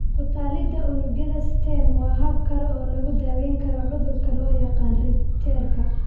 Ku-tallaalidda unugyada stem waa hab kale oo lagu daweyn karo cudurka loo yaqaan 'Richterka'.